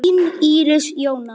Þau eiga þrjú börn saman.